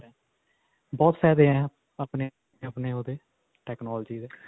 ਬਹੁਤ ਫਾਇਦੇ ਹੈ, ਅਪਨੇ, ਅਪਨੇ ਓਹਦੇ technology ਦੇ